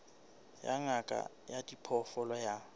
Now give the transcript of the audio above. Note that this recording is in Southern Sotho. ya ngaka ya diphoofolo ya